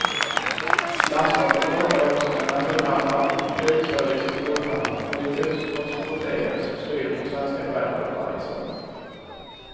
Landskapet lockar också med naturhamnar och hög service i båthamnar för de tusentals båtägare som styr mot svenska skärgården varje sommar.